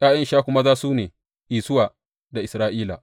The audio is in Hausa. ’Ya’yan Ishaku maza su ne, Isuwa da Isra’ila.